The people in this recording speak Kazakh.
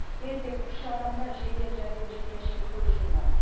ересек үш адам да жедел жәрдем жеткенше көз жұмған